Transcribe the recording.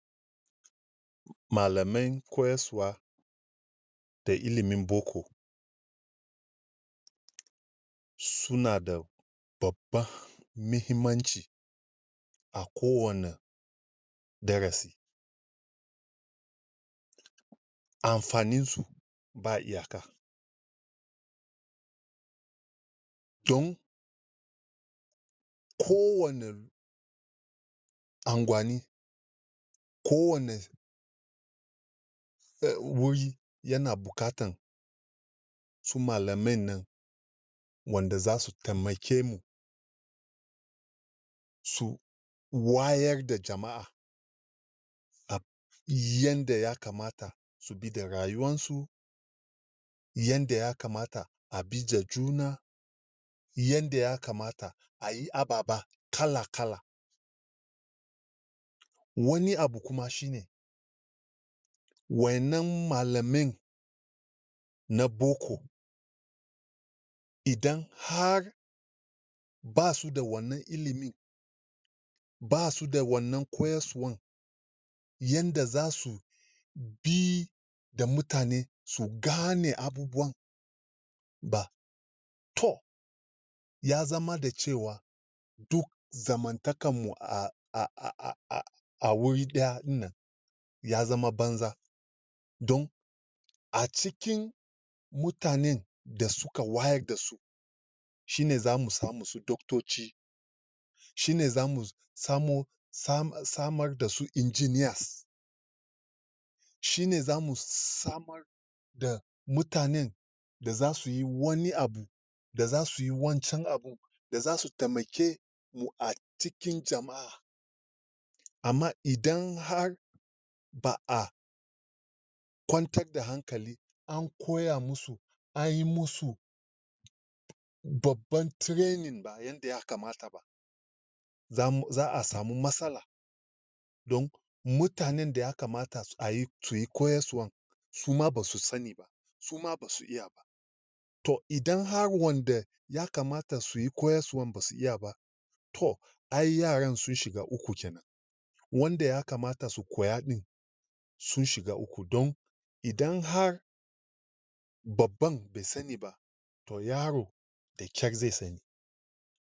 malamen koyaswa da ilimin boko sunada babba mihimmanci akowana darasi anfani su ba iyaka don kowani angwani kowani um wuri yana bukatan su malame nan wanda zasu temake mu su wayar da jama'a yanda ya kamata idan rayuwan su yanda yakamata abija juna yanda yakamata ayi ababa kalakala woni abu kuma shine wayanan malamen na boko idan har basu da wanan ilimin basuda wanan koyaswan yanda zasu bi da mutane su gane abubuwan ba to ya zamz da cewa du zamantakan mu a um a wuri ɗaya ɗinnan yazama banza don acikin mutanen da suka wayar dasu shine zamu samu su dogtoci shine zamu samo sam[um] samar dasu Engineers shine zamu s samar da mutanen da zasuyi woni abu da zasuyi wancan da zasu temake mu acikin jama'a ama idan har ba'a kwantar da hankali an koya musu ayi musu babban training ba zamu za'a samu matsala don mutane daya kamata ayi suyi koyaswan suma basu sani suma basu iya ba to idan har wonda yakamata suyi koyaswan basu iya ba to ai yaran sun shiga uku kenan wonda yakamata su koya ɗin sun shigs uku don idan har babban be sani to yaro da kyar ze sani